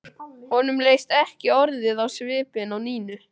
Honum leist ekki orðið á svipinn á Nínu.